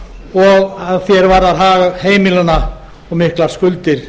og að því er varðar hag heimilanna og miklar skuldir